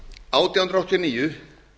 átján hundruð áttatíu og níu